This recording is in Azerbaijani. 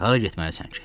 Hara getməlisən ki?